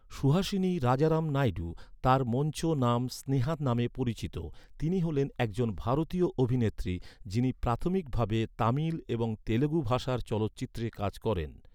সুহাসিনী রাজারাম নাইডু, তাঁর মঞ্চ নাম স্নেহা নামে পরিচিত। তিনি হ’লেন এক জন ভারতীয় অভিনেত্রী, যিনি প্রাথমিক ভাবে তামিল এবং তেলুগু ভাষার চলচ্চিত্রে কাজ করেন।